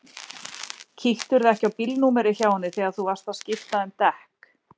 Kíktirðu ekki á bílnúmerið hjá henni þegar þú varst að skipta um dekk?